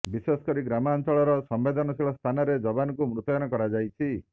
ବିଶେଷ କରି ଗ୍ରାମାଞ୍ଚଳର ସମ୍ବେଦନଶୀଳ ସ୍ଥାନରେ ଯବାନଙ୍କୁ ମୁତୟନ କରାଯାଇଛି